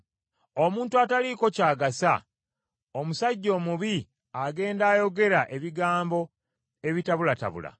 Omuntu ataliiko ky’agasa, omusajja omubi agenda ayogera ebigambo ebitabulatabula,